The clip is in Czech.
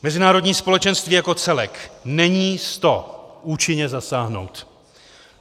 Mezinárodní společenství jako celek není s to účinně zasáhnout.